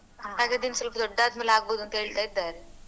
ಹಾಗೆ ಅದು ಇನ್ನ್ ಸ್ವಲ್ಪ ದೊಡ್ಡಾದ್ಮೇಲೆ ಆಗ್ಬೋದು ಅಂತ ಹೇಳ್ತಾ ಇದ್ದಾರೆ.